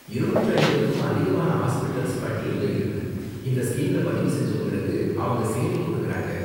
இருநூற்று ஐம்பதுக்கும் அதிகமான ஹாஸ்பிட்டல்ஸ் பட்டியல்ல இருக்கு, இந்த ஸ்கீம்ல பதிவுசெஞ்சவங்களுக்கு அவங்க சேவை கொடுக்கிறாங்க.